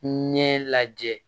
Ɲɛ lajɛ